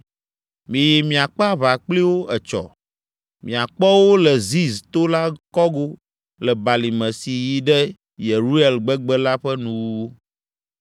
Miyi miakpe aʋa kpli wo etsɔ! Miakpɔ wo le Ziz to la kɔgo le balime si yi ɖe Yeruel gbegbe la ƒe nuwuwu!